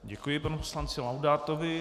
Děkuji panu poslanci Laudátovi.